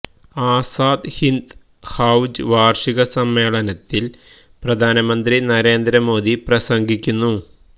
ആസാദ് ഹിന്ദ് ഫൌജ് വാർഷിക സമ്മേളനത്തിൽ പ്രധാനമന്ത്രി നരേന്ദ്ര മോഡി പ്രസംഗിക്കുന്നു